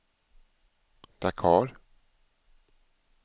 Dakar